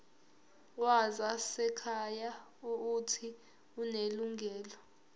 wezasekhaya uuthi unelungelo